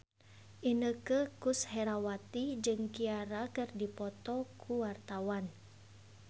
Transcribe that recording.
Inneke Koesherawati jeung Ciara keur dipoto ku wartawan